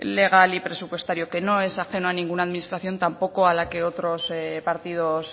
legal y presupuestario que no es ajeno a ninguna administración tampoco a la que otros partidos